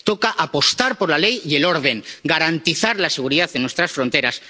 toca apostar por la ley y el orden, garantizar la seguridad en nuestras fronteras